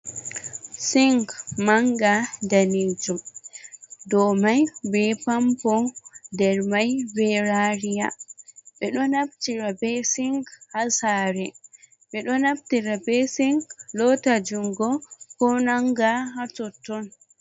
Sing mannga daneejum, dow may be pampo, nder may be raariya. Ɓe ɗo naftira be sing haa saare, ɓe ɗo naftira be sing loota junngo, ko nannga haa totton.